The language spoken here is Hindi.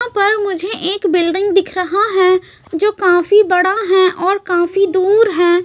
यहां पर मुझे एक बिल्डिंग दिख रहा है जो काफी बड़ा है और काफी दूर है।